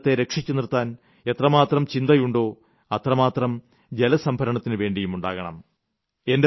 നമ്മുടെ ജീവിതത്തെ രക്ഷിച്ചു നിർത്താൻ എത്രമാത്രം ചിന്തയുണ്ടോ അത്രയും ജലസംഭരണത്തിനു വേണ്ടിയുമുണ്ടാകണം